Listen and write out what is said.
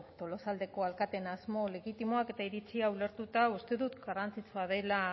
tolosaldeko alkateen asmo legitimoak eta iritziak ulertuta uste dut garrantzitsua dela